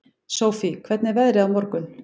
Sofie, hvernig er veðrið á morgun?